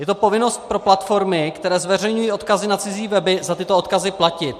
Je to povinnost pro platformy, které zveřejňují odkazy na cizí weby, za tyto odkazy platit.